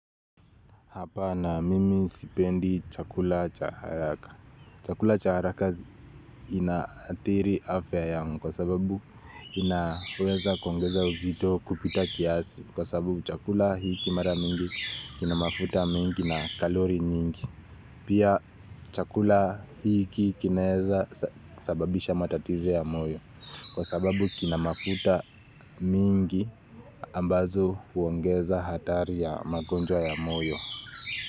Hapana mimi sipendi chakula cha haraka. Chakula cha haraka inaathiri afya yangu kwa sababu inaweza kuongeza uzito kupita kiasi. Kwa sababu chakula hiki mara mingi kina mafuta mingi na kalori mingi. Pia chakula hiki kinaweza sababisha matatizo ya moyo. Kwa sababu kinamafuta mingi ambazo huongeza hatari ya magonjwa ya moyo.